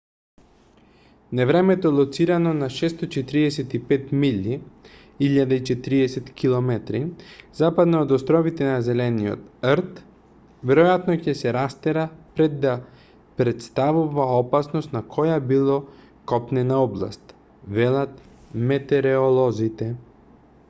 невремето лоцирано на 645 милји 1040 км западно од островите на зелениот 'рт веројатно ќе се растера пред да претставува опасност на која било копнена област велат метереолозите